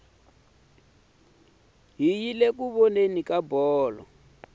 hi yile ku voneni ka bolo